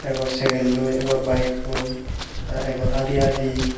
bor segerloi egor bikkoi egor adi adi.